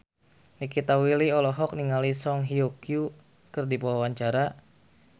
Nikita Willy olohok ningali Song Hye Kyo keur diwawancara